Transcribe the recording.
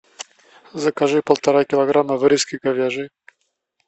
закажи полтора килограмма вырезки говяжьей